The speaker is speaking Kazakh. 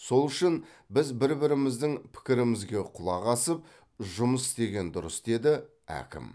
сол үшін біз бір біріміздің пікірімізге құлақ асып жұмыс істеген дұрыс деді әкім